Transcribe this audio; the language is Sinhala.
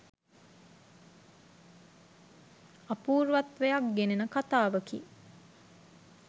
අපූර්වත්වයක් ගෙනෙන කතාවකි.